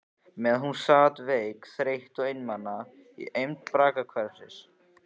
Meðan hún sat veik, þreytt og einmana í eymd braggahverfisins.